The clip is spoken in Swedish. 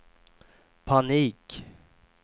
panik